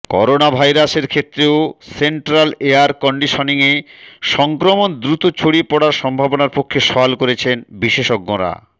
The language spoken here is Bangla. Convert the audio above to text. করোনাভাইরাসের ক্ষেত্রেও সেন্ট্রাল এয়ার কন্ডিশনিংয়ে সংক্রমণ দ্রুত ছড়িয়ে পড়ার সম্ভাবনার পক্ষে সওয়াল করেছেন বিশেষজ্ঞরা